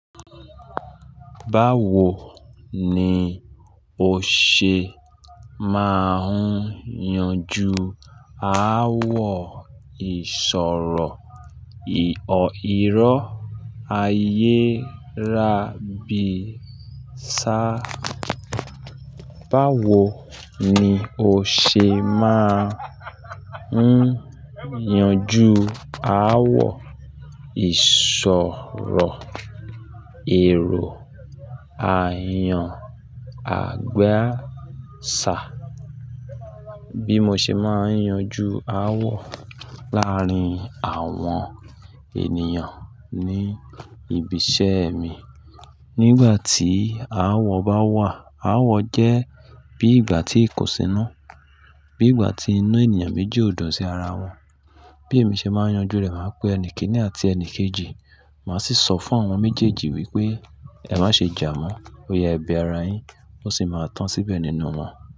Báwo ni o ṣe máa ń yanjú ááwọ̀ ìṣòro ìró ayé ra bí sá? Báwo ni o ṣe máa ń yanjú ááwọ̀ ìṣòro èrò ayan àgba ṣà? Bí mo ṣe máa ń yanjú ááwọ̀ láàárín àwọn ènìyàn ní ibi iṣẹ́ mi. Nígbà tí ááwọ̀ bá wà, ááwọ̀ jẹ́ bí ìgbà tí ikusínú, bí ìgbà tí inú ènìyàn méjì ò dùn sí ara wọn. Bí èmi ṣe máa ń yanjú rẹ̀, màá pe ẹni kìn-ín-ní àti ẹni kejì, màá sì sọ fún àwọn méjèèjì wípé, "Ẹ má ṣe jà mọ́. Ó ya e bẹ ara yín." Ó sì máa tán síbẹ̀ nínú wọn.